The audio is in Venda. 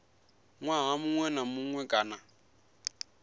ṅwaha muṅwe na muṅwe kana